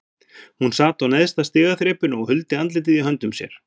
Hún sat á neðsta stigaþrepinu og huldi andlitið í höndum sér.